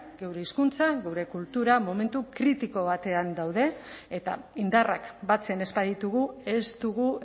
geure hizkuntza geure kultura momentu kritiko batean daude eta indarrak batzen ez baditugu ez dugu